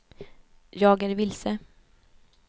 jag är vilse